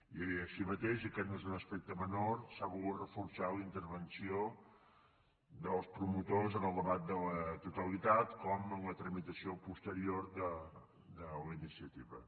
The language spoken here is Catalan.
i així mateix i aquest no és un aspecte menor s’ha volgut reforçar la intervenció dels promotors en el debat de la totalitat com en la tramitació posterior de la iniciativa